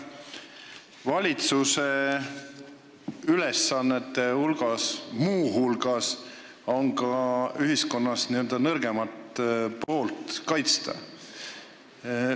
Valitsuse ülesannete hulgas on ka ühiskonnas n-ö nõrgema poole kaitsmine.